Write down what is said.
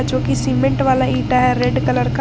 जो की सीमेंट वाला इटा है रेड कलर का।